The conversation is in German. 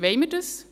Wollen wir das?